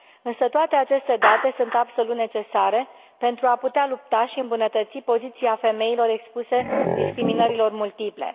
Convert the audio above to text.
Însă toate aceste date sunt absolut necesare pentru a putea lupta și îmbunătăți poziția femeilor expuse discriminărilor multiple.